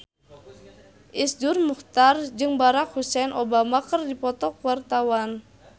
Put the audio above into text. Iszur Muchtar jeung Barack Hussein Obama keur dipoto ku wartawan